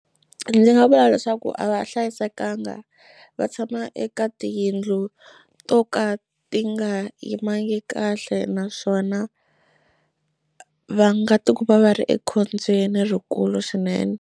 Ndzi nga vula leswaku a va hlayisekanga va tshama eka tiyindlu to ka ti nga yimangi kahle naswona va nga ti kuma va ri ekhombyeni rikulu swinene.